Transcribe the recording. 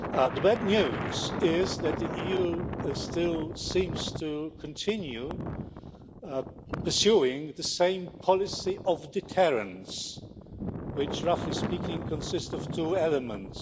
The bad news is that the EU still seems to continue pursuing the same policy of deterrence, which roughly speaking consist of two elements.